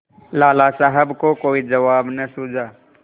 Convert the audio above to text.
लाला साहब को कोई जवाब न सूझा